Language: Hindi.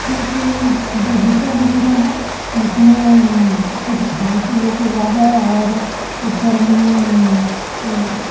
इक बगीचा दिख रहा है जिसमें मम्म कुछ घास लोग उगा है और ऊपर में अम्म वो--